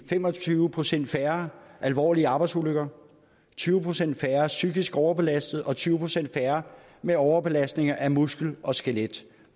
fem og tyve procent færre alvorlige arbejdsulykker tyve procent færre psykisk overbelastede og tyve procent færre med overbelastning af muskler og skelet